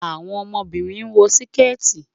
Àwọn ọmọbínrin wọ̀ síkẹ́tì.